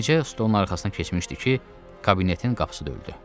Yenicə stolun arxasına keçmişdi ki, kabinetin qapısı döyüldü.